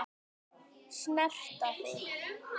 Snerta þig.